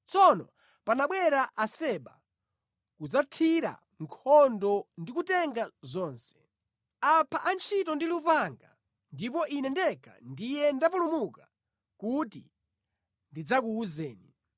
tsono panabwera Aseba kudzatithira nkhondo ndi kutenga zonse. Apha antchito ndi lupanga, ndipo ine ndekha ndiye ndapulumuka kuti ndidzakuwuzeni!”